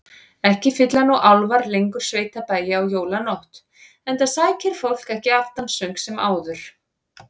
Ekki fylla nú álfar lengur sveitabæi á jólanótt, enda sækir fólk ekki aftansöng sem áður.